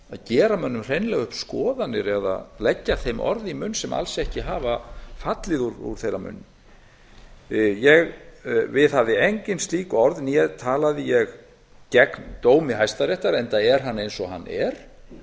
gera mönnum hreinlega upp skoðanir eða leggja þeim orð í munn sem alls ekki hafa fallið úr þeirra munni ég viðhafði engin slík orð né talaði ég gegn dómi hæstaréttar enda er hann eins og hann er